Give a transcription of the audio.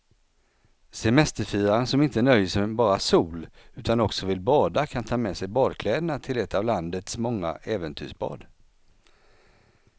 Semesterfiraren som inte nöjer sig med bara sol utan också vill bada kan ta med sig badkläderna till ett av landets många äventyrsbad.